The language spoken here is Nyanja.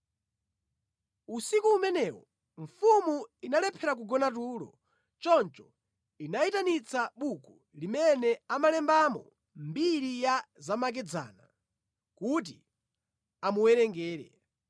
Usiku umenewo mfumu inalephera kugona tulo; Choncho inayitanitsa buku limene amalembamo mbiri ya zamakedzana kuti amuwerengere.